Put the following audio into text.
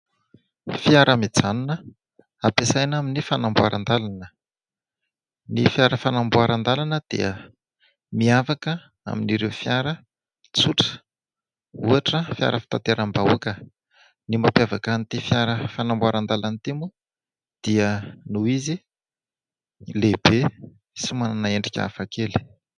Fiara mijanona, ampiasaina amin'ny fanamboaran-dalana. Ny fiara fanamboaran-dalana dia miavaka amin'ireo fiara tsotra, ohatra : fiara fitateram-bahoaka. Ny mampiavaka an'ity fiara fanamboaran-dalana ity moa dia noho izy lehibe sy manana endrika hafa kely.